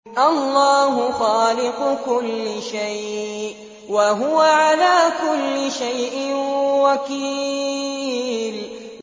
اللَّهُ خَالِقُ كُلِّ شَيْءٍ ۖ وَهُوَ عَلَىٰ كُلِّ شَيْءٍ وَكِيلٌ